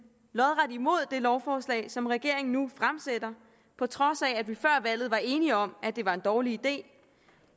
lodret imod det lovforslag som regeringen nu fremsætter på trods af at vi før valget var enige om at det var en dårlig idé